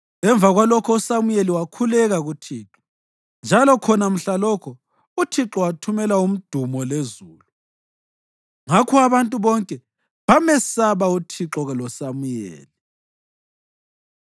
Emva kwalokho uSamuyeli wakhuleka kuThixo, njalo khona mhlalokho uThixo wathumela umdumo lezulu. Ngakho abantu bonke bamesaba uThixo loSamuyeli.